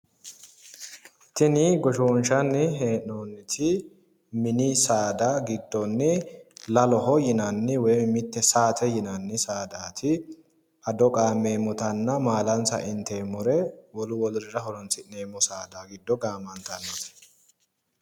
Tini goshshoonshanni hee'noonniti mini saada giddonni laloho yinanni woy mite saate yinanni saadati ado qaammemmotanna maalansa inteemmore wolu wolurira horonsi'neemmo saada giddo gaammantanno.